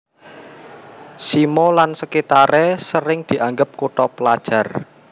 Simo lan sekitare sering dianggep kutha pelajar